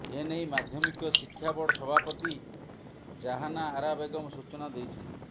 ଏନେଇ ମାଧ୍ୟମିକ ଶିକ୍ଷା ବୋର୍ଡ ସଭାପତି ଜାହାନା ଆରା ବେଗମ୍ ସୂଚନା ଦେଇଛନ୍ତି